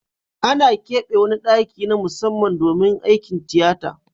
Ana kebe wani daki na musamman domin aikin tiyata.